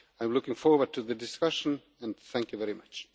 I am looking forward to the discussion and thank you very much.